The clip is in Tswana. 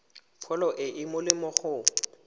pholo e e molemo go